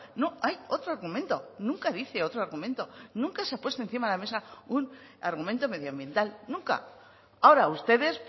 no hay otro argumento nunca dice otro argumento nunca se ha puesto encima de la mesa un argumento medioambiental nunca ahora ustedes